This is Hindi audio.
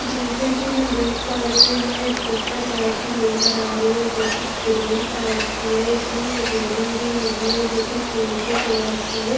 जैसे कि में देख पा रही हुँ यह गुफा टाइप की नज़र आ रही है जो की ग्रीन टाइप की है इसमें रैलिंग भी लगी है जो कि सिलेटी कलर की है।